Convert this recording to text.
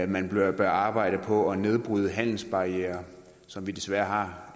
man bør arbejde på at nedbryde handelsbarrierer som vi desværre